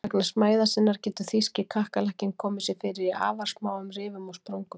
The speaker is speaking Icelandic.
Vegna smæðar sinnar getur þýski kakkalakkinn komið sér fyrir í afar smáum rifum og sprungum.